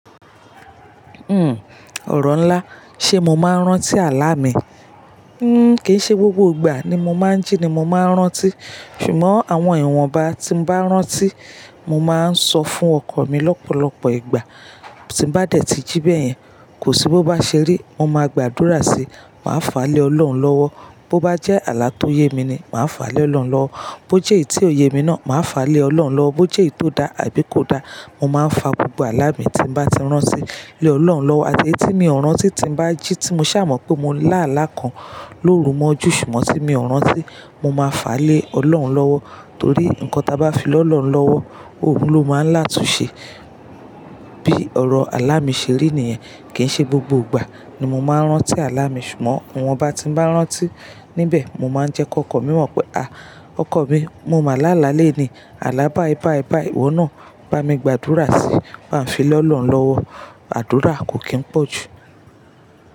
Uhm, ọ̀rọ̀ ńlá, ṣe mo máa ń rántí àlá mi? Hmm, kì í ṣe gbogbo ìgbà ni mo máa ń jí ni mo máa ń rántí. Ṣùgbọ́n àwọn ìwọ̀nba tí mo bá rántí, mo máa ń sọ fún ọkọ mi lọ́pọ̀lọpọ̀ ìgbà. Tí n bá dẹ̀ tí jí bẹ́yẹn, kò sí bó bá ṣe rí, mo máa gbàdúrà síi, màá fà á lé Ọlọ́run lọ́wọ́. Bo bá jẹ́ àlá tó yé mi ni, màá fà á lé Ọlọ́run lọ́wọ́. Bo jẹ́ èyí tí ò yé mi náà, màá fà á lé Ọlọ́run lọ́wọ́. Bo jẹ́ èyí tó da àbí kò da, mo máa ń fa gbogbo àlá mi tí mo bá ti rántí lé Ọlọ́run lọ́wọ́. Àti eyi tí mi ò rántí tí n bá jí tí mo ṣà mọ̀ pé mo lá àlá kan lóru mọ́jú ṣùgbọ́n tí mi ò rántí, mo máa fà á lé Ọlọ́run lọ́wọ́. Torí nǹkan ta bá fi lọ́ lọ̀run lọ́wọ́, Òhun ló máa ń látunṣe. Bí ọ̀rọ̀ àlá mi ṣe rí nìyẹn. Kì í ṣe gbogbo ìgbà ni mo máa ń rántí àlá mi ṣùgbọ́n ìwọ̀nba tí n bá rántí níbẹ̀, mo máa ń jẹ́kọ ọkọ mi mọ̀ pé, "à, ọkọ mi, mo máa làlá lẹ́ni, àlá báyi báyi báyi ìwọ náà, bá mi gbàdúrà síi." Aa fi lọ́ lọ̀run lọ́wọ́, àdúrà kò kí ń pọ̀ jù.